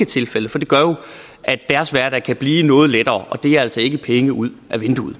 tilfældet for det gør jo at deres hverdag kan blive noget lettere og det er altså ikke penge ud ad vinduet